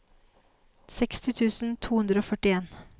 seksti tusen to hundre og førtien